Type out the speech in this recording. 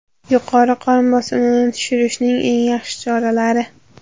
Yuqori qon bosimini tushirishning eng yaxshi choralari.